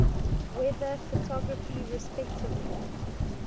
weather photography respectively